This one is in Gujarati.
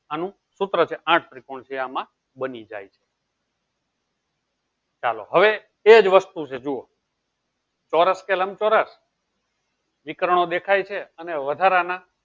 આનું સુત્ર છે આઠ ત્રિકોણ છે ચાલો હવે એજ વસ્તુ છે આ જુવો ચૌરસ કે લમ ચૌરસ દેખાય છે વધારા ના